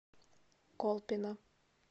колпино